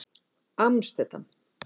Amsterdam